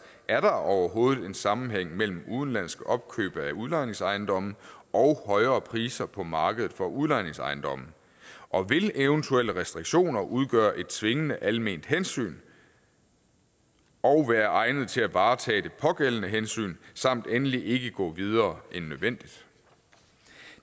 er der overhovedet en sammenhæng mellem udenlandske opkøb af udlejningsejendomme og højere priser på markedet for udlejningsejendomme og vil eventuelle restriktioner udgøre et tvingende alment hensyn og være egnet til at varetage det pågældende hensyn samt endelig ikke gå videre end nødvendigt